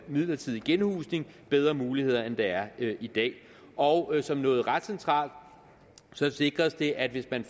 midlertidig genhusning bedre muligheder end der er i dag og som noget ret centralt sikres det at hvis man